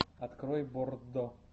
открой боррдо